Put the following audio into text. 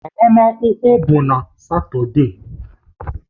Agbamakwụkwọ bụ na Satọde